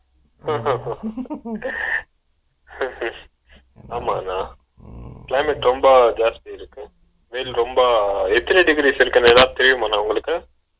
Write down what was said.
Laugh ஆமாண்ணா climate ரொம்ப ஜாஸ்தி இருக்கு வெயில் ரொம்ப எத்தன degree celsius எதாவது தெரியுமாண்ணா உங்களுக்கு ?